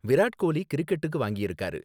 விராட் கோலி கிரிக்கெட்டுக்கு வாங்கிருக்காரு